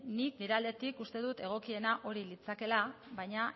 nik nire aldetik uste dut egokiena hori litzakeela baina